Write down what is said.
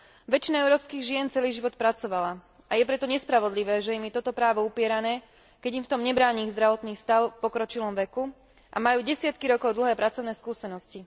Väčšina európskych žien celý život pracovala a je preto nespravodlivé, že im je toto právo upierané, keď im v tom nebráni ich zdravotný stav v pokročilom veku a majú desiatky rokov dlhé skúsenosti.